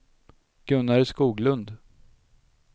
Gunnar Skoglund